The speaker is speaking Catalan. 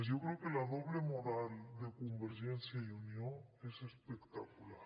yo creo que la doble moral de convergència i unió es espectacular